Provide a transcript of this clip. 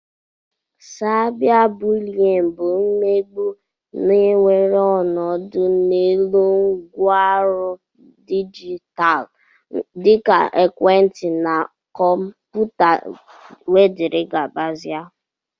Caiba bụlyin bụ imegbu na-ewere ọnọdụ n'elu ngwaọrụ dijitalụ dika ekwentị na kọmputa wdg